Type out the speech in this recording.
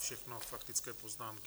Všechno faktické poznámky.